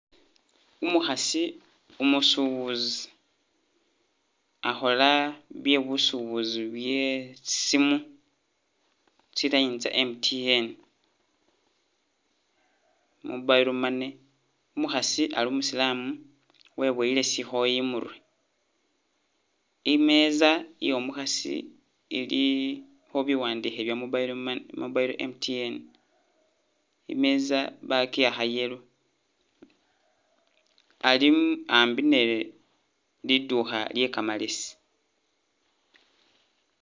Umu khasi umusubuzi akhola bye busubuzi bye tsisimu tsi line tsa MTN mobile money umu khasi ali umusilamu webuyele shikhooyi imurwe imeza iyo mukhasi ilikho biwandikhe bya mobile money mobile MTN imeza bakiwakha yellow ali ambi ni liduka lye kamalesi